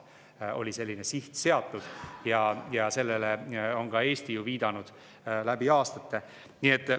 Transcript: Juba siis oli selline siht seatud ja sellele on ka Eesti läbi aastate viidanud.